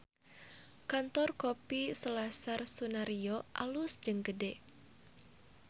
Kantor Kopi Selasar Sunaryo alus jeung gede